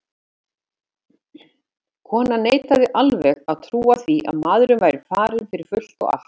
Konan neitaði alveg að trúa því að maðurinn væri farinn fyrir fullt og allt.